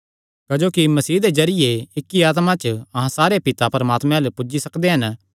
क्जोकि मसीह दे जरिये इक्की आत्मा च अहां सारे पिता परमात्मे अल्ल पुज्जी सकदे हन